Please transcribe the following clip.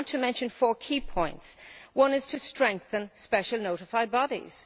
I want to mention four key points one is to strengthen special notified bodies.